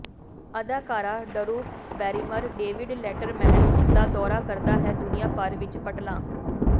ਅਦਾਕਾਰਾ Drew Barrymore David Letterman ਦਾ ਦੌਰਾ ਕਰਦਾ ਹੈ ਦੁਨੀਆ ਭਰ ਵਿੱਚ ਪਟਲਾਂ